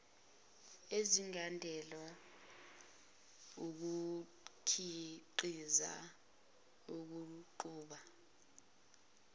ezingadalwa wukukhiqiza ukuqhuba